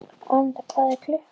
Anína, hvað er klukkan?